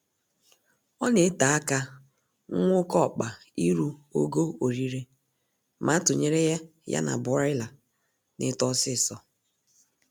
Ọ na ete aka nwa oké ọkpa iru ogo orire ma a tụnyere ya na Broiler na-eto ọsịịsọ